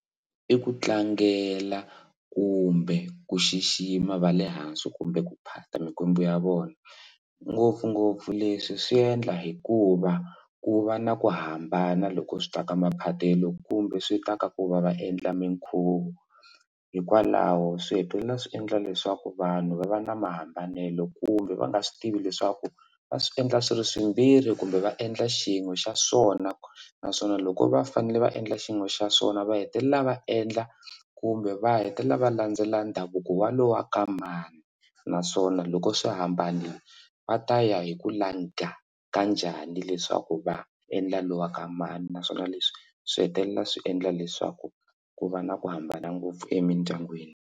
I ku tlangela kumbe ku xixima va le hansi kumbe ku phata mikwembu ya vona ngopfungopfu leswi swi endla hikuva ku va na ku hambana loko swi ta ka maphatelo kumbe swi ta ka ku va va endla minkhuvo hikwalaho swihetelela swi endla leswaku vanhu va va na mahambanelo kumbe va nga swi tivi leswaku va swi endla swi ri swimbirhi kumbe va endla xin'we xa swona naswona loko va fanele va endla xin'we xa swona va hetelela va endla kumbe va hetelela va landzela ndhavuko wa lowa ka mani naswona loko swi hambana va ta ya hi ku langha ka njhani leswaku va endla lowa ka mani naswona leswi swi hetelela swi endla leswaku ku va na ku hambana ngopfu emindyangwini.